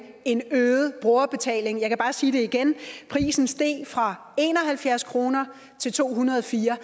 en øget brugerbetaling jeg kan bare sige det igen prisen steg fra en og halvfjerds kroner til to hundrede og fire